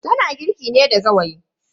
Tana girki ne da gawayi.